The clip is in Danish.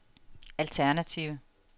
alternative